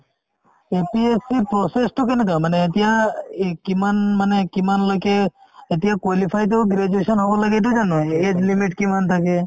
APSC ৰ process তো কেনেকুৱা মানে এতিয়া এই কিমান মানে কিমান লৈকে এতিয়া qualified য়ো graduation হ'ব লাগে এইটো জানো a~ age limit কিমান থাকে